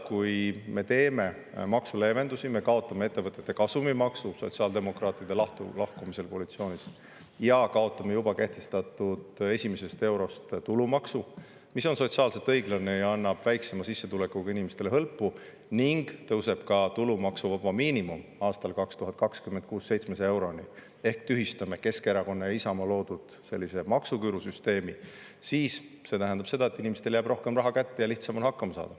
Kui me teeme maksuleevendusi, kaotame ettevõtete kasumimaksu sotsiaaldemokraatide lahkumisel koalitsioonist ja kaotame juba kehtestatud tulumaksu esimesest eurost – see on sotsiaalselt õiglane ja annab väiksema sissetulekuga inimestele hõlpu – ning 2026. aastal tõuseb tulumaksuvaba miinimum 700 euroni ehk me tühistame Keskerakonna ja Isamaa loodud maksuküürusüsteemi, siis see tähendab seda, et inimestele jääb rohkem raha kätte ja lihtsam on hakkama saada.